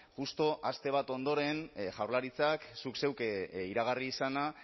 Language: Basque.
justu aste bat ondoren jaurlaritzak zuk zeuk iragarri izana